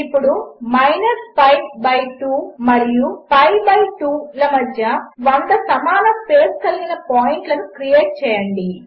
ఇప్పుడు pi2 మరియు పిఐ2 లమధ్య 100 సమానస్పేస్కలిగినపాయింట్లనుక్రియేట్చేయండి